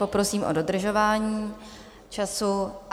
Poprosím o dodržování času.